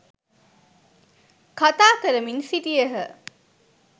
කථා කරමින් සිටියහ.